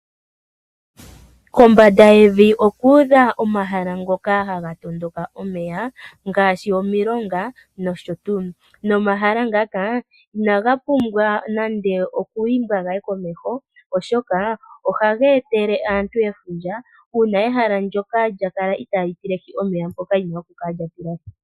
Kombanda yevi oku udha omahala ngoka ha ga tondoka omeya ngaashi omilonga nosho tuu. Omahala ngaka inaga pumbwa nande oku imbwa ga ye komeho, oshoka ohaga etele aantu efundja uuna ehala ndyoka lya kala itali tilehi omeya ngoka lu na okutilahi.